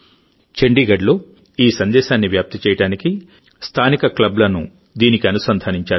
చండీగఢ్లో ఈ సందేశాన్ని వ్యాప్తి చేయడానికి స్థానిక క్లబ్లను దీనికి అనుసంధానించారు